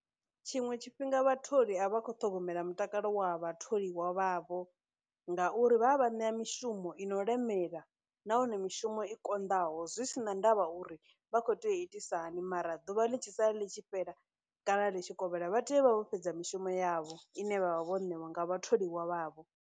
Tshiṅwe tshifhinga vhatholi a vha khou ṱhogomela mutakalo wa vhatholiwa vha vho ngauri vha vha ṋea mishumo i no lemela nahone mishumo i konḓaho zwi sina ndavha uri vha khou tea itisahani, mara ḓuvha ḽi tshi sala ḽi tshi fhela kana ḽi tshi kovhela vha tea u vha vho fhedza mishumo yavho ine vha vha vho ṋewa nga vhatholiwa vhavho.